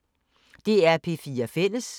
DR P4 Fælles